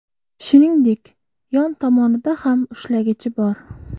Shuningdek, yon tomonida ham ushlagichi bor.